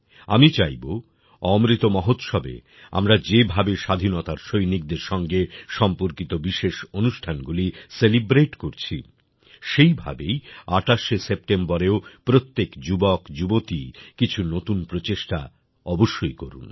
আমি চাইব অমৃত মহোৎসবে আমরা যেভাবে স্বাধীনতার সৈনিকদের সঙ্গে সম্পর্কিত বিশেষ অনুষ্ঠানগুলি সেলিব্রেট করছি সেইভাবেই ২৮শে সেপ্টেম্বরেও প্রত্যেক যুবকযুবতী কিছু নতুন প্রচেষ্টা অবশ্যই করুক